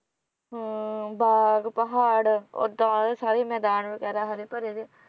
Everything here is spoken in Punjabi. ਹਾਂ ਬਾਗ, ਪਹਾੜ, ਉਹਦਾ ਉਹਦੇ ਸਾਰੇ ਮੈਦਾਨ ਵਗੈਰਾ ਹਰੇ ਭਰੇ ਜਿਹੇ